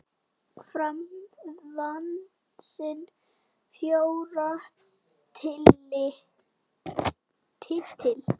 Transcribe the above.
Fram vann sinn fjórða titil.